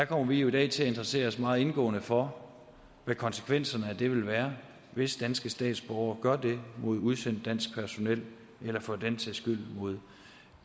kommer jo i dag til at interessere os meget indgående for hvad konsekvenserne af det vil være hvis danske statsborgere gør det mod udsendt dansk personel eller for den sags skyld mod